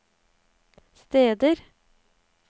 steder